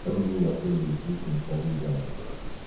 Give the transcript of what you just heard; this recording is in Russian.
как бы воспользовались случаем прожить заново